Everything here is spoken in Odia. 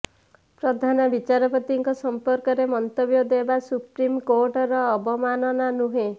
ପ୍ରଧାନ ବିଚାରପତିଙ୍କ ସମ୍ପର୍କରେ ମନ୍ତବ୍ୟ ଦେବା ସୁପ୍ରିମକୋର୍ଟର ଅବମାନନା ନୁହେଁ